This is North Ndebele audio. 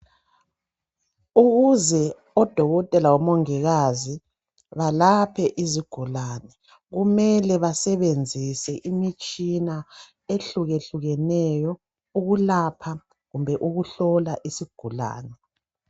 Ukuze odokotela lomongikazi balaphe izigulane kumele basebenzise imitshina ehlukehlukeneyo ukulapha kumbe ukuhlola isigulani.